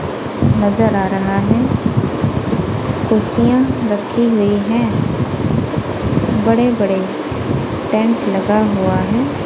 नजर आ रहा है कुर्सियां रखी हुई हैं बड़े बड़े टैंक लगा हुआ है।